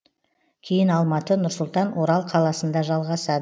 кейін алматы нұр сұлтан орал қаласында жалғасад